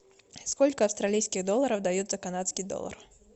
сколько австралийских долларов дают за канадский доллар